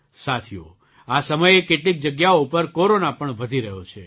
સાથીઓ આ સમયે કેટલીક જગ્યાઓ પર કૉરોના પણ વધી રહ્યો છે